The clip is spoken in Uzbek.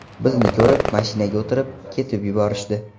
Bizni ko‘rib, mashinaga o‘tirib, ketib yuborishdi.